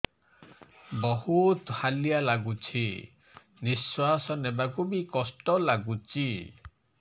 ବହୁତ୍ ହାଲିଆ ଲାଗୁଚି ନିଃଶ୍ବାସ ନେବାକୁ ଵି କଷ୍ଟ ଲାଗୁଚି